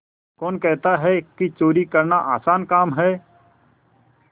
कौन कहता है कि चोरी करना आसान काम है